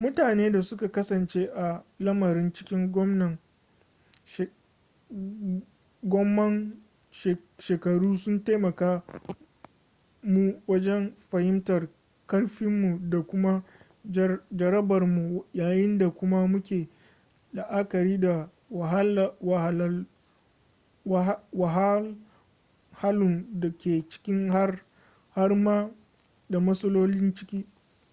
mutune da suka kasance a lamarin cikin gomman shekaru sun taimake mu wajen fahimtar karfinmu da kuma jarabarmu yayin da kuma muke la'akari da wahalhalun da ke ciki har ma da matsalolin ciki